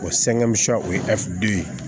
O o ye ye